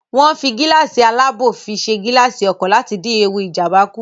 Wọ́n ń fi gíláàsì alábò fi ṣe gilaasi ọkọ̀ láti dín ewu Ìjàmbá kù